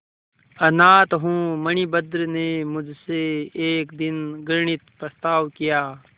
अनाथ हूँ मणिभद्र ने मुझसे एक दिन घृणित प्रस्ताव किया